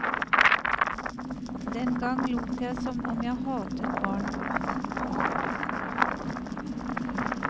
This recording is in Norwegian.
Den gang lot jeg som om jeg hatet barn.